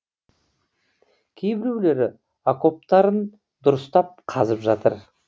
кейбіреулері окоптарын дұрыстап қазып жатыр